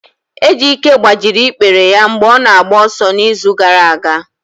Ejike gbajiri ikpere ya mgbe ọ na-agba ọsọ n'izu gara aga.